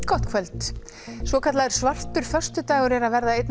gott kvöld svokallaður svartur föstudagur er að verða einn